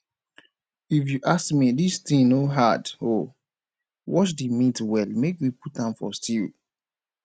if you ask me dis thing no hard oo wash the meat well make we put a for stew